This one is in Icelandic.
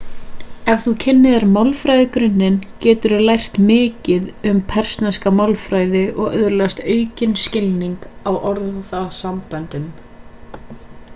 ef þú kynnir þér málfræðigrunninn geturðu lært mikið um persneska málfræði og öðlast aukinn skilning á orðasamböndum